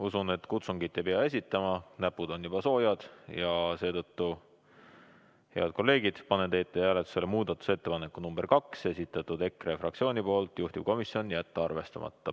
Usun, et kutsungit ei pea esitama, näpud on juba soojad ja seetõttu, head kolleegid, panen hääletusele muudatusettepaneku nr 2, esitanud EKRE fraktsioon, juhtivkomisjon on jätnud arvestamata.